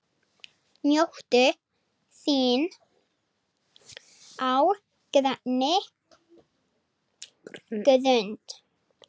Njóttu þín á grænni grund.